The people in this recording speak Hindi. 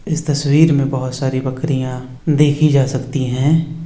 इस तस्वीर में बोहत सारी बकरियाँ देखी जा सकती हैं।